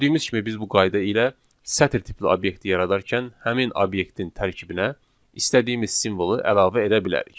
Gördüyümüz kimi biz bu qayda ilə sətr tipli obyekti yaradarkən həmin obyektin tərkibinə istədiyimiz simvolu əlavə edə bilərik.